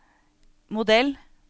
modell